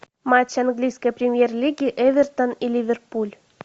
матч английской премьер лиги эвертон и ливерпуль